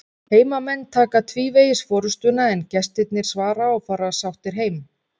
Heimamenn taka tvívegis forystuna en gestirnir svara og fara sáttir heim.